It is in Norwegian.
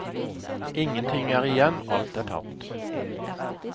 Ingenting er igjen, alt er tapt!